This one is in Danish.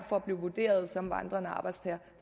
for at blive vurderet som vandrende arbejdstager